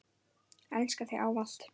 Elska þig ávallt.